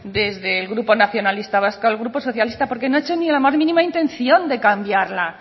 desde el grupo nacionalista vasco al grupo socialista porque no ha hecho ni la más mínima intención de cambiarla